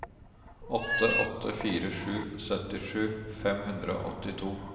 åtte åtte fire sju syttisju fem hundre og åttito